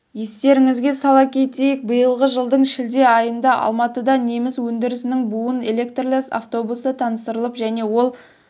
естеріңізге сала кетейік биылғы жылдың шілде айында алматыда неміс өндірісінің буын электрлі автобусы таныстырылып және ол